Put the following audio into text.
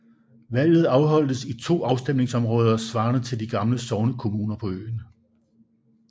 Valget afholdtes i 2 afstemningsområder svarende til de gamle sognekommuner på øen